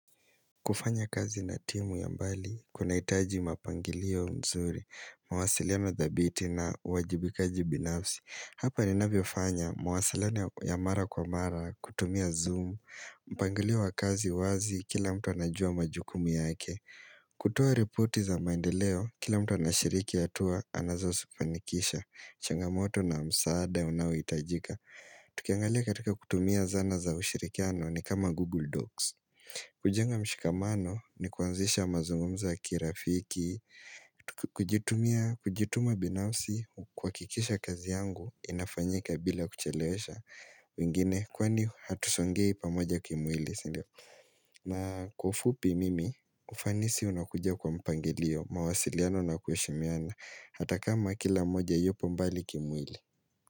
Kufanya kazi na timu ya mbali, kuna itaji mapangilio mzuri, mawasiliano dhabiti na huwajibikaji binafsi. Hapa ninavyiofanya, mawasiliono ya mara kwa mara, kutumia zoom, mpangilio wa kazi wazi kila mtu anajua majukumu yake. Kutoa repoti za maendeleo, kila mtu anashiriki hatuwa anazosifanikisha, changamoto na msaada ya unawitajika. Tukiangalia katika kutumia zana za ushirikiano ni kama Google Docs. Kujenga mshikamano ni kuanzisha mazungumzo ya kirafiki kujituma binafsi kuhakikisha kazi yangu inafanyika bila kuchelewesha wengine kwani hatusongei pamoja kimwili na kwa ufupi mimi ufanisi unakuja kwa mpangilio mawasiliano na kuheshimiana Hata kama kila moja yupo mbali kimwili.